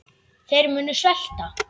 Þeir munu svelta.